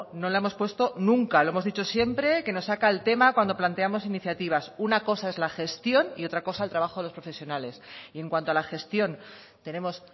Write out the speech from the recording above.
no la hemos puesto nunca lo hemos dicho siempre que nos saca el tema cuando planteamos iniciativas una cosa es la gestión y otra cosa el trabajo de los profesionales y en cuanto a la gestión tenemos